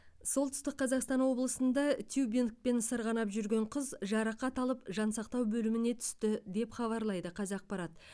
солтүстік қазақстан облысында тюбингпен сырғанап жүрген қыз жарақат алып жансақтау бөліміне түсті деп хабарлайды қазақпарат